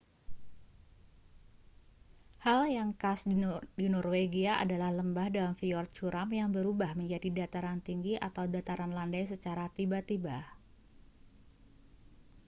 hal yang khas di norwegia adalah lembah dan fyord curam yang berubah menjadi dataran tinggi atau dataran landai secara tiba-tiba